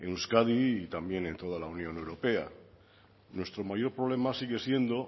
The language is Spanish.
en euskadi y también en toda la union europea nuestro mayor problema sigue siendo